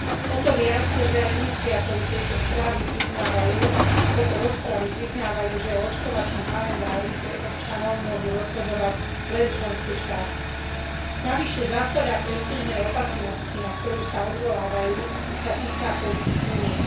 O to viac, že aj iniciátori tejto rozpravy priznávajú, že o očkovacom kalendári pre občanov môžu rozhodovať len členské štáty. Navyše zásada predbežnej opatrnosti, na ktorú sa odvolávajú, sa týka politík Únie.